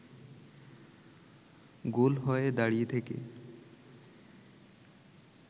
গোল হয়ে দাঁড়িয়ে থেকে